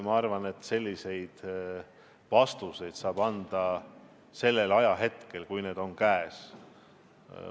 Ma arvan, et selliseid vastuseid saab anda siis, kui need ütlemised on käes.